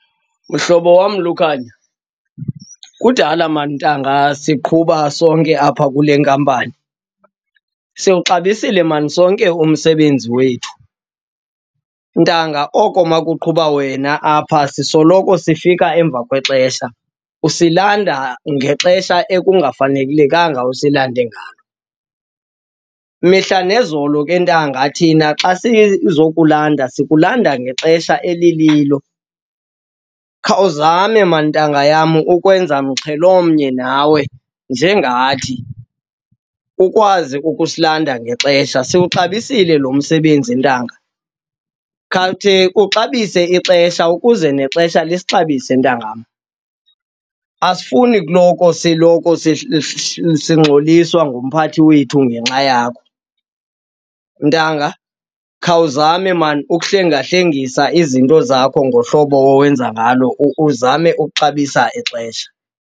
Mhlobo wam Lukhanyo, kudala mani ntanga siqhuba sonke apha kule nkampani, siwuxabisile mani sonke umsebenzi wethu. Ntanga oko uma kuqhuba wena apha sisoloko sifika emva kwexesha, usilanda ngexesha ekungafanelekanga usilande ngalo. Mihla nezolo ke ntanga thina xa sizokulanda sikulanda ngexesha elililo. Khawuzame mani ntanga yam ukwenza mxhelomnye nawe njengathi, ukwazi ukusilanda ngexesha. Siwuxabisile lo msebenzi ntanga, khawukhe uxabise ixesha ukuze nexesha lisixabise ntangam. Asifuni uloko siloko sigxoliswa ngumphathi wethu ngenxa yakho. Ntanga, khawuzame mani ukuhlengahlengisa izinto zakho ngohlobo owenza ngalo, uzame ukuxabisa ixesha.